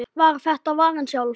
var þetta varan sjálf.